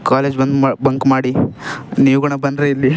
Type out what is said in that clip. College ಬಂದ್ bunk ಮಾಡಿ ನೀವು ಕೂಡ ಬಂದ್ರೆ ಇಲ್ಲಿ.